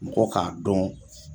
Mɔgɔ k'a dɔn